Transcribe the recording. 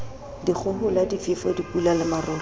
dikgohola difefo dipula le marole